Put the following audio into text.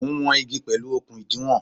Mo ń wọn igi pẹ̀lú okun ìdiwọ̀n.